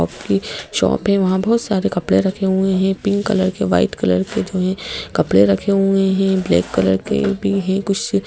की शॉप है वहां बहुत सारे कपड़े रखे हुए हैं पिंक कलर के वाइट कलर के जो है कपड़े रखे हुए हैं ब्लैक कलर के भी है कुछ--